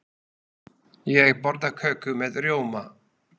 Ég borða köku með rjóma.